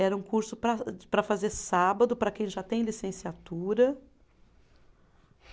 Era um curso para para fazer sábado, para quem já tem licenciatura.